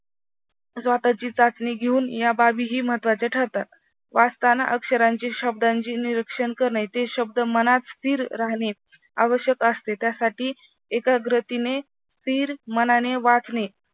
स्वतःची चाचणी घेऊन या बाबीही महत्त्वाचे ठरतात. वाचताना अक्षरांची शब्दांची निरीक्षण करणे ते शब्द मनात स्थिर राहणे आवश्यक असते त्यासाठी एकाग्रतीने स्थिर मानाने वाचणे